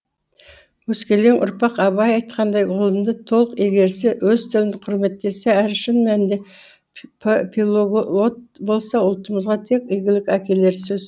өскелең ұрпақ абай айтқандай ғылымды толық игерсе өз тілін құрметтесе әрі шын мәнінде пилоглот болса ұлтымызға тек игілік әкелері сөзсіз